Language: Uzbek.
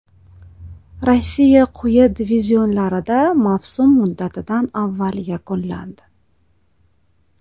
Rossiya quyi divizionlarida mavsum muddatidan avval yakunlandi.